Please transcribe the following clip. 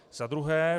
Za druhé.